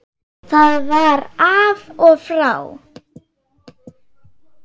Það var af og frá.